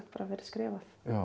verið skrifað